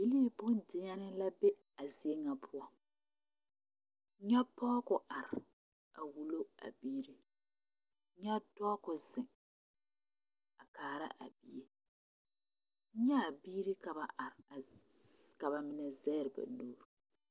Bibilii bondeɛnee la be a zie ŋa poɔ nyɛ pɔge k'o are a wulo a biiri nyɛ dɔɔ k'o zeŋ a kaara a bie nyɛ a biiri ka ba are ka ba mine zɛge ba nuuri.